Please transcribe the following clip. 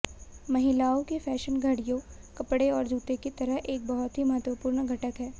महिलाओं की फैशन घड़ियों कपड़े और जूते की तरह एक बहुत ही महत्वपूर्ण घटक हैं